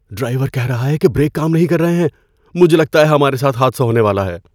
Driver کہہ رہا ہے کہ بریک کام نہیں کر رہے ہیں۔ مجھے لگتا ہے کہ ہمارے ساتھ حادثہ ہونے والا ہے۔